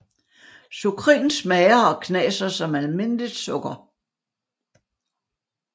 Sukrin smager og knaser som almindeligt sukker